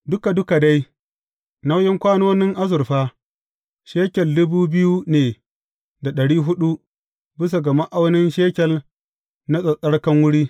Duka duka dai, nauyin kwanonin azurfa, shekel dubu biyu ne da ɗari huɗu, bisa ga ma’aunin shekel na tsattsarkan wuri.